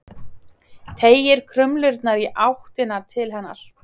Teygir krumlurnar í áttina til hennar.